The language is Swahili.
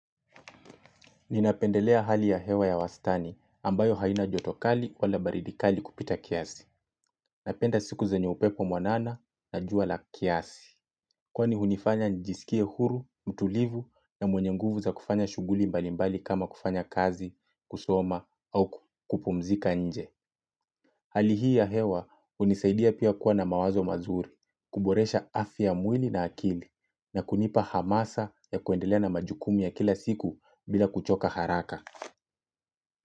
Ninapendelea hali ya hewa ya wastani ambayo haina jotokali wala baridikali kupita kiasi. Napenda siku zenye upepo mwanana na jua la kiasi. Kwani hunifanya njisikie huru, mtulivu na mwenyenguvu za kufanya shuguli mbalimbali kama kufanya kazi, kusoma au kupumzika nje. Hali hii ya hewa unisaidia pia kuwa na mawazo mazuri, kuboresha afya ya mwili na akili na kunipa hamasa ya kuendelea na majukumu ya kila siku bila kuchoka haraka.